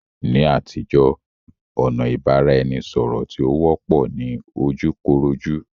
Ní àtijó, ọ̀nà ìbára eni sọ̀rọ̀ tí ó wọ́pọ̀ ni ojú koró jú.